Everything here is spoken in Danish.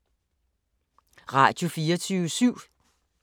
Radio24syv